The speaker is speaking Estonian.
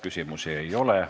Küsimusi ei ole.